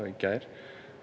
í gær